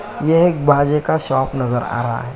यह एक बाजे का शॉप नज़र आ रहा है।